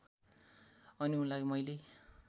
अनि उनलाई मैले